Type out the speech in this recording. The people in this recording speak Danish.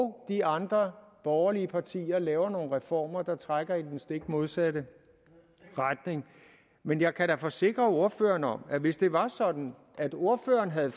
og de andre borgerlige partier laver nogle reformer der trækker i den stik modsatte retning men jeg kan da forsikre ordføreren om at hvis det var sådan at ordføreren havde